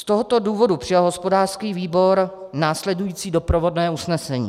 Z tohoto důvodu přijal hospodářský výbor následující doprovodné usnesení: